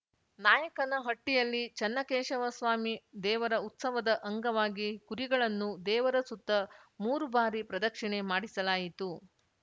ನಾಯಕನಹಟ್ಟಿಯಲ್ಲಿ ಚನ್ನಕೇಶವ ಸ್ವಾಮಿ ದೇವರ ಉತ್ಸವದ ಅಂಗವಾಗಿ ಕುರಿಗಳನ್ನು ದೇವರ ಸುತ್ತ ಮೂರು ಬಾರಿ ಪ್ರದಕ್ಷಿಣೆ ಮಾಡಿಸಲಾಯಿತು